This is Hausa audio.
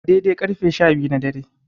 A dai-dai ƙarfe sha biyu na dare.